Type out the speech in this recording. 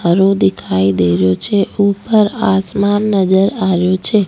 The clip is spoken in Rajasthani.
हरो दिखाई दे रेहो छे ऊपर आसमान नजर आ रेहो छे।